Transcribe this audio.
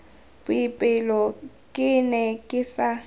boipelo ke ne ke sa